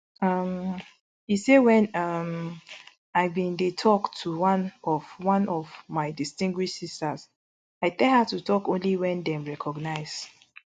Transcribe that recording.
um e say wen um i bin dey tok to one of one of my distinguished sisters i tell her to tok only wen dem recognise